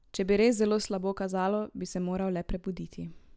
Če bi res zelo slabo kazalo, bi se moral le prebuditi.